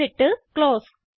എന്നിട്ട് ക്ലോസ്